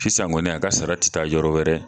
Sisan kɔni a ka sara ti taa yɔrɔ wɛrɛ